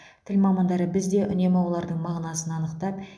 тіл мамандары біз де үнемі олардың мағынасын анықтап